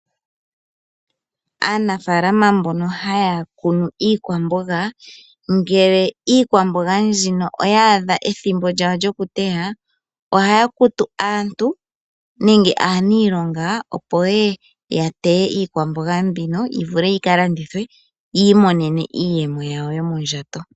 Aanafaalama mbono haya kunu iikwamboga, ngele iikwamboga mbino oya adha ethimbo lyawo lyokuteya ohaya kutu aantu nenge aaniilonga opo yeye ya teye iikwamboga mbino yi vule yi kalandithwe yi imonene iiyemo yawo yomondjato.